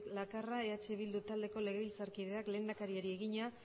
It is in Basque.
lakarra eh bildu taldeko legebiltzarkideak lehendakariari egina